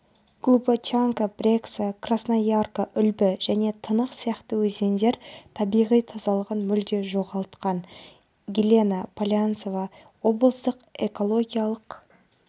глубочанка брекса қрасноярка үлбі және тынық сияқты өзендер табиғи тазалығын мүлде жоғалтқан елена полянцева облыстық экологиялық